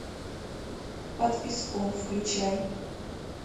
под песком включай